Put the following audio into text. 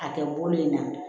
A kɛ bolo in na